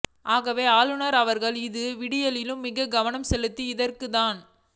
ஆகவே ஆளுநர் அவர்கள் இதுவிடயத்திலும் மிக்க கவனம் செலுத்தி இதற்கான தக்க